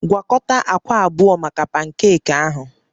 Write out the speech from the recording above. Gwakọta akwa abụọ maka pankeeki ahụ